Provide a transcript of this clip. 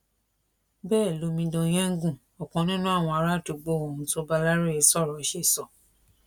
bẹẹ lomidan yengun ọkàn nínú àwọn àràádúgbò ohun tó bá aláròye sọrọ ṣe sọ